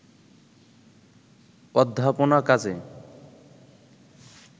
অধ্যাপনা কাজে